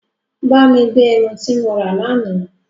Bá mi gbé ẹmu tí mo rà l'àná